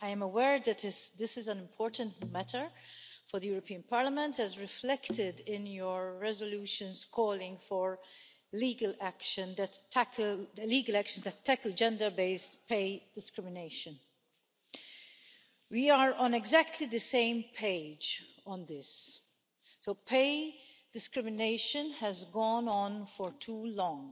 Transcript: I am aware that this is an important matter for the European Parliament, as reflected in its resolutions calling for legal actions that tackle gender based pay discrimination. We are on exactly the same page on this. Pay discrimination has gone on for too long.